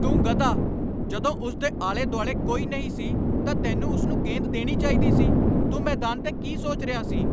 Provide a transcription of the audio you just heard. ਤੂੰ ਗਧਾ। ਜਦੋਂ ਉਸ ਦੇ ਆਲੇ ਦੁਆਲੇ ਕੋਈ ਨਹੀਂ ਸੀ ਤਾਂ ਤੈਨੂੰ ਉਸ ਨੂੰ ਗੇਂਦ ਦੇਣੀ ਚਾਹੀਦੀ ਸੀ। ਤੂੰ ਮੈਦਾਨ 'ਤੇ ਕੀ ਸੋਚ ਰਿਹਾ ਸੀ?